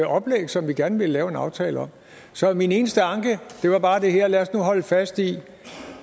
oplæg som vi gerne ville lave en aftale om så min eneste anke er bare det her lad os nu holde fast i